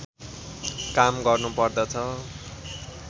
काम गर्नुपर्दछ